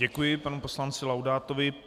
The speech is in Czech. Děkuji panu poslanci Laudátovi.